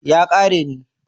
ya kare ne